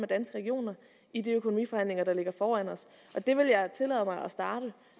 danske regioner i de økonomiforhandlinger der ligger foran os det vil jeg tillade mig